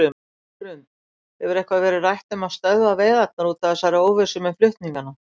Hrund: Hefur eitthvað verið rætt um að stöðva veiðarnar út af þessari óvissu með flutningana?